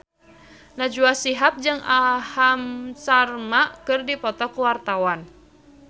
Najwa Shihab jeung Aham Sharma keur dipoto ku wartawan